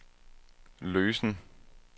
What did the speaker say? løsen